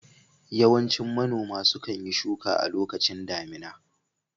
Yawancin manoma sukan yi shuka a lokacin damina